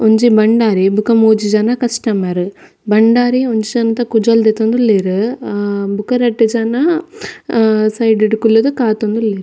ಒಂಜಿ ಭಂಡಾರಿ ಬೊಕ ಮೂಜಿ ಜನ ಕಸ್ಟಮರ್ ಭಂಡಾರಿ ಒಂಜಿ ಜನತ ಕುಜಲ್ ದೆತ್ತೊಂದುಲ್ಲೆರ್ ಆ ಬೊಕ ರಡ್ಡ್ ಜನ ಸೈಡ್ ಡ್ ಕುಲ್ಲುದು ಕಾತೊಂದುಲ್ಲೆರ್.